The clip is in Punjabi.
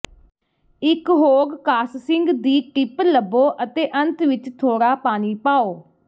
ਇੱਕ ਹੋੱਗ ਕਾਸਸਿੰਗ ਦੀ ਟਿਪ ਲੱਭੋ ਅਤੇ ਅੰਤ ਵਿੱਚ ਥੋੜਾ ਪਾਣੀ ਪਾਓ